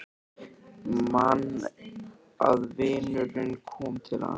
Man að vinurinn kom til hans.